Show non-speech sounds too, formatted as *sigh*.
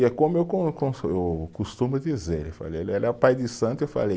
E é como eu, *unintelligible* eu costumo dizer, *unintelligible* pai de santo, eu falei